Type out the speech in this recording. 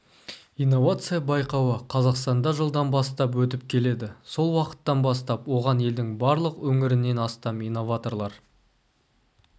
инновация байқауы қазақстанда жылдан бастап өтіп келеді сол уақыттан бастап оған елдің барлық өңірінен астам инноваторлар